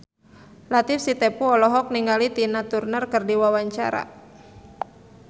Latief Sitepu olohok ningali Tina Turner keur diwawancara